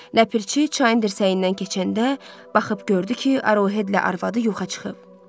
Ləpirçi çayın dirsəyindən keçəndə baxıb gördü ki, Arohedlə arvazı yoxa çıxıb.